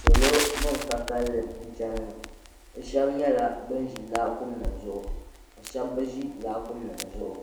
Salo ban ka kalili n ʒɛya ŋɔ bɛ sheba nyɛla ban ʒi laakumi nima zuɣu ka sheba bi ʒi laakumi nima zuɣu